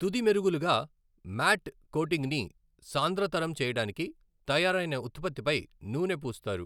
తుది మెరుగులుగా, మ్యాట్ కోటింగ్ని సాంద్రతరం చేయడానికి తయారైన ఉత్పత్తిపై నూనె పూస్తారు.